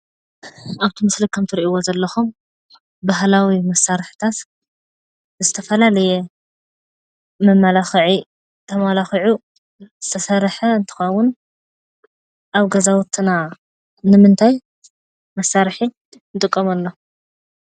ኣብቲ ምስሊ ከም እትርእይዎ ዘለኹም ባህላዊ መሳርሕታት ዝተፈላለየ መመላኽዒ ተመላኺዑ ዝተሰርሐ እንትኸዉን ኣብ ገዛዉትና ንምንታይ መሳርሒ ንጥቀመሎም?